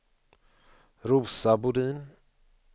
Rosa Bodin